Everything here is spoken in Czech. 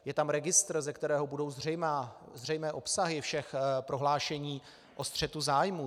Je tam registr, ze kterého budou zřejmé obsahy všech prohlášení o střetu zájmů.